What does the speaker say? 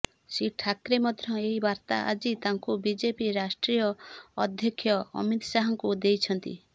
ଶ୍ରୀ ଠାକ୍ରେ ମଧ୍ୟ ଏହି ବାର୍ତ୍ତା ଆଜି ତାଙ୍କୁ ବିଜେପି ରାଷ୍ଟ୍ରୀୟ ଅଧ୍ୟକ୍ଷ ଅମିତ ଶାହାଙ୍କୁ ଦେଇଛନ୍ତି